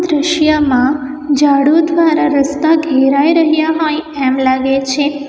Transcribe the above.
દ્રશ્યમાં ઝાડું દ્વારા રસ્તા ઘેરાઈ રહ્યા હોય એમ લાગે છે.